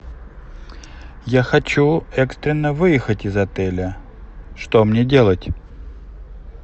я хочу экстренно выехать из отеля что мне делать